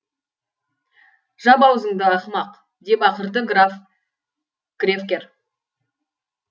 жап аузыңды ақымақ деп ақырды граф де кревкер